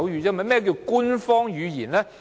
何謂官方語言呢？